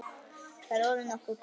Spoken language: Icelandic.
Þetta er orðið nokkuð gott.